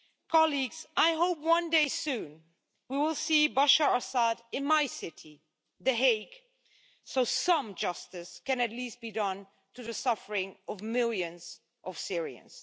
Colleagues, I hope one day soon we will see Bashar Assad in my city the Hague so some justice can at least be done to the suffering of millions of Syrians.